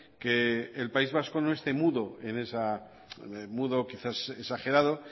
que el país vasco no esté mudo quizás he exagerado